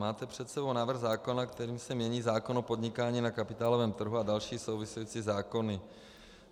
Máte před sebou návrh zákona, kterým se mění zákon o podnikání na kapitálovém trhu a další související zákony.